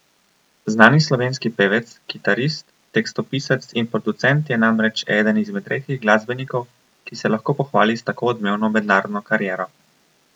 Znani slovenski pevec, kitarist, tekstopisec in producent je namreč eden izmed redkih glasbenikov, ki se lahko pohvali s tako odmevno mednarodno kariero.